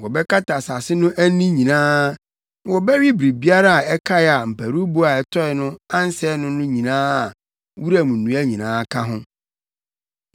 Wɔbɛkata asase no ani nyinaa. Na wɔbɛwe biribiara a ɛkae a mparuwbo a ɛtɔe no ansɛe no no nyinaa a wuram nnua nyinaa ka ho.